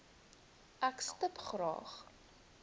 ek stip graag